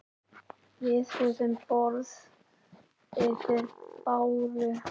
Við höfum borð fyrir báru.